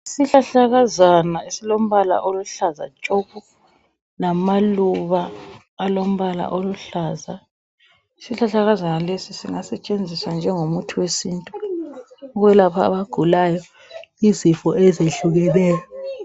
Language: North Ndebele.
Isihlahlakazana esilombala oluhlza tshoko, lamaluba alombala oluhlaza. Isihlahlakaza lesi singatshenziswa njengomuti wesintu, okwelapha abagulayo izifo ezihlukeneyo